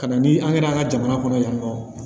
Ka na ni an kɛra an ka jamana kɔnɔ yan nɔ